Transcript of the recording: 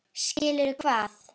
Skilur hvað?